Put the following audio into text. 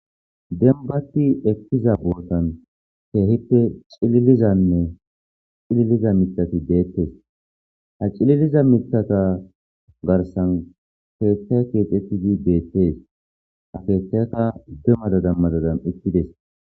Denbati ekkiza bootan keehippe cililizanne cililiza mitati deettes ha cililiza mitata garsan keetta keexettidi deettees hakeettaka demmadadammadadan ekkides.